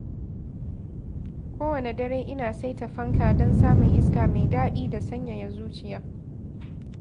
Kowane dare, ina saita fanka don samun iska mai daɗi da sanyaya zuciya.